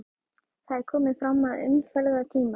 Það er komið fram að umferðartíma.